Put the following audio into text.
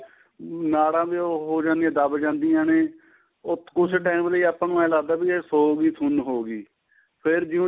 ਨਾੜਾਂ ਉਹ ਹੋ ਜਾਦੀਆਂ ਦੱਬ ਜਾਦੀਆਂ ਨੇ ਉਹ ਕੁੱਝ time ਲਈ ਆਪਾਂ ਨੂੰ ਇਹ ਲੱਗਦਾ ਵੀ ਏ ਸੋ ਗਈ ਸੁੰਨ ਹੋ ਗਈ ਫੇਰ ਜਿਉਂ